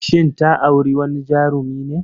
Shin ta auri wani Jarumi ne?